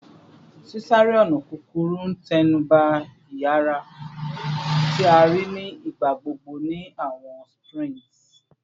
Sisare-ọna kukuru n tẹnuba iyara, ti a rii ni igbagbogbo ni awọn sprints